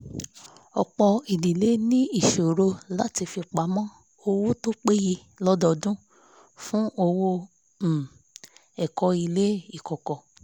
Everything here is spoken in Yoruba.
ọ̀pọ̀ idílé ní ìṣòro láti fipamọ́ owó tó péye lododun fún owó um ẹ̀kọ́ ilé ikọ̀kọ̀